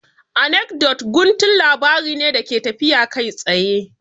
Anekdot guntun labari ne da ke tafiya kai tsaye